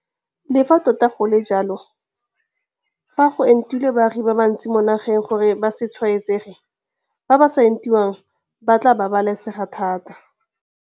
Le fa tota go le jalo, fa go entilwe baagi ba bantsi mo nageng gore ba se tshwaetsege, ba ba sa entiwang ba tla babalesega thata.